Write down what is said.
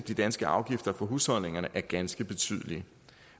de danske afgifter for husholdningerne er ganske betydelige